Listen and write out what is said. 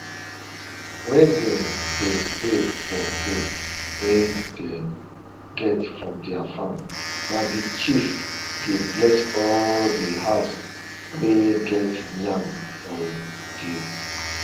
wen dem dey pray for food wey dem get from their farm na the chief dey bless all di house wey get yam for di